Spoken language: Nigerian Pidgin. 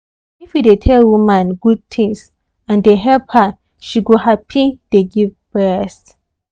if you dey tell woman good things and dey help her she go happy dey give breast.